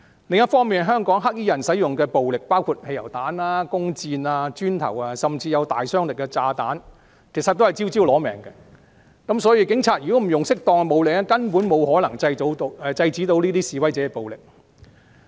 另一方面，香港"黑衣人"使用的暴力，包括汽油彈、弓箭、磚塊，甚至有大殺傷力的炸彈，真的是招招"攞命"，要是警察不使用適當的武力，根本無法制止示威者的暴力。